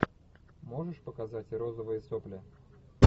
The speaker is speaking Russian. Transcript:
можешь показать розовые сопли